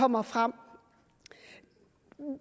kommer frem